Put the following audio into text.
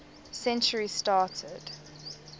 century started